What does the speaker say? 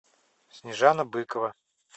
снежана быкова